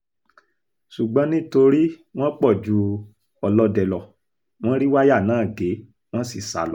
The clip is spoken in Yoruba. ṣùgbọ́n nítorí wọ́n pọ̀ ju ọlọ́dẹ lọ wọ́n rí wáyà náà gé wọ́n sì sá lọ